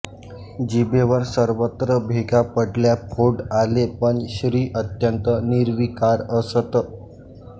जिभेवर सर्वत्र भेगा पडल्या फोड आलेपण श्री अत्यंत निर्विकार असत